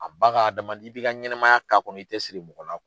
A ba ka adama, i b'i ka ɲɛnamaya k'a kɔnɔ i tɛ siri mɔgɔ la.